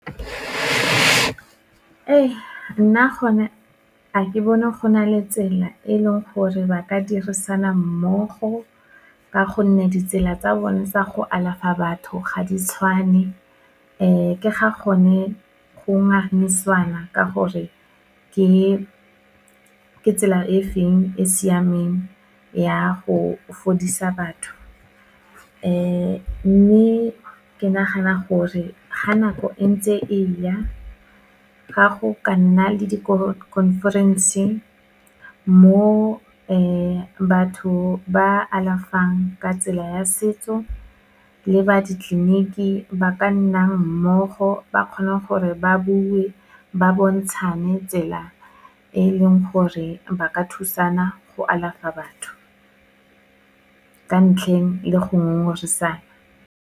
Ee, nna gone a ke bone go na le tsela e leng gore ba ka dirisana mmogo, ka gonne ditsela tsa bone tsa go alafa batho ga di tshwane. Ke ga gone go ngangisanwa ka gore, ke tsela e feng e siameng ya go fodisa batho. Mme ke nagana gore, ga nako entse e ya, ga go ka nna le di-conference-e, mo batho ba alafang ka tsela ya setso, le ba ditleleniki ba ka nnang mmogo, ba kgona gore ba bue, ba bontshane tsela e e leng gore ba ka thusana go alafa batho. Ka ntlheng le go ngongoresana.